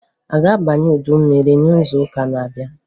A ga-abanye udu mmiri n'izuụka n'abịa?